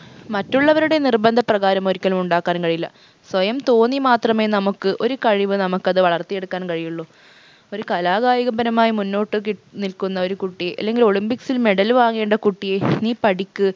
മറ്റുള്ളവരുടെ നിർബന്ധപ്രകാരം ഒരിക്കലും ഉണ്ടാക്കാൻ കഴിയില്ല സ്വയം തോന്നി മാത്രമേ നമുക്ക് ഒരു കഴിവ് നമുക്കത് വളർത്തിയെടുക്കാൻ കഴിയുള്ളു ഒരു കലാകായിക പരമായി മുന്നോട്ട് കി നിക്കുന്ന ഒരു കുട്ടി അല്ലെങ്കിൽ olympics ൽ medal വാങ്ങേണ്ട കുട്ടിയെ നീ പഠിക്ക്